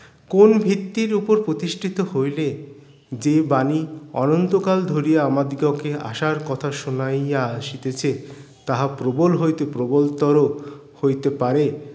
কোন ভিত্তর উপর প্রতিষ্ঠিত হইলে যে বাণী অনন্তকাল ধরিয়া আমাদ্বিগকে আশার কথা শুনাইয়া আসিতেছে তাহা প্রবল হইতে প্রবলতর হইতে পারে